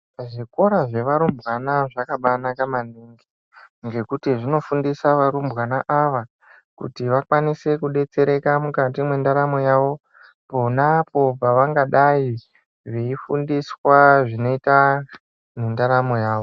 Zvikora zvevarumbwana zvakabaanaka maningi ngekuti zvinofundisa varumbwana ava Kuti vakwanise kudetsereka mukati mwendaramo yavo ponapo pavangadai veifundiswa zvinoita mundaramo yawo.